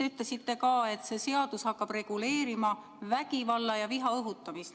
Te ütlesite ka seda, et see seadus hakkab reguleerima vägivalla ja viha õhutamist.